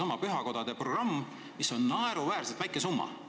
On ju pühakodade programm, mille elluviimiseks on ette nähtud naeruväärselt väike summa.